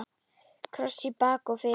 Kross í bak og fyrir.